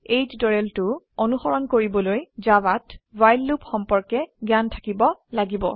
এই টিউটোৰিয়েলটো অনুসৰন কৰিবলৈ জাভাত ৱ্হাইল লুপ সম্পৰ্কে জ্ঞান থাকিব লাগিব